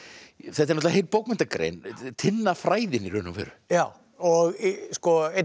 náttúrulega heil bókmenntagrein Tinnafræðin í raun og veru já einn af